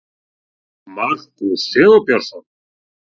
Markús Sigurbjörnsson.